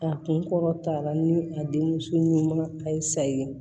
A kun kɔrɔta ni a denmuso ɲuman a ye sayi